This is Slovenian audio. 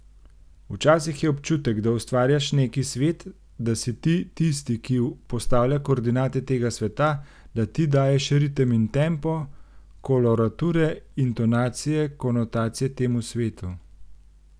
Včasih je občutek, da ustvarjaš neki svet, da si ti tisti, ki postavlja koordinate tega sveta, da ti daješ ritem in tempo, kolorature, intonacije, konotacije temu svetu ...